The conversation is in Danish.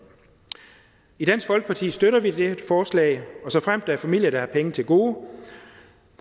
i dansk folkeparti støtter vi det her forslag og såfremt der er familier der har penge til gode